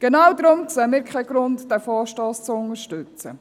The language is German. Genau deshalb sehen wir keinen Grund, diesen Vorstoss zu unterstützen.